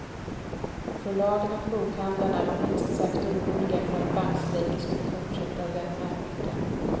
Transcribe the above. Förlagen och bokhandlarna var minst sagt oroliga för att bankstrejken skulle fortsätta den här veckan.